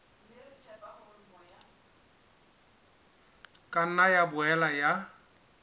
ka nna ya boela ya